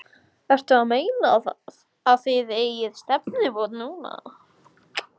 Ertu að meina. að þið eigið stefnumót núna.